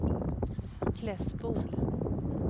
Klässbol